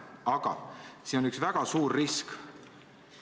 Aga see on ka üks väga suur risk.